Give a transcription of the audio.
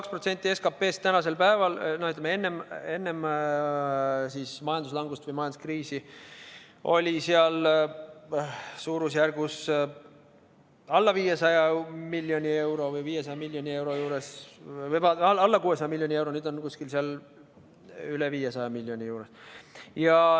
2% SKP-st tänasel päeval, enne majanduslangust või majanduskriisi, oli suurusjärgus alla 600 miljoni euro, nüüd on seal kuskil üle 500 miljoni.